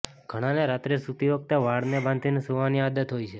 ઘણાને રાત્રે સૂતી વખતે વાળને બાંધીને સૂવાની આદત હોય છે